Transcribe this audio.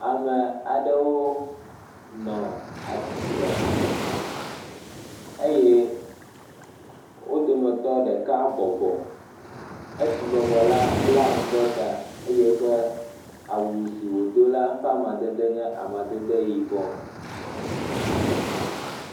Ame aɖewo nɔ atsitre eye wo dometɔ ɖeka bɔbɔ, esi bɔbɔ la bla nu ɖe ta eye eƒe awu si wòdo la ƒe amadede nye amadede yibɔ.